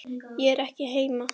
Ég er ekki heima